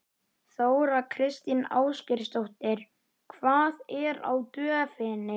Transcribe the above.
Þóra Kristín Ásgeirsdóttir: Hvað er á döfinni?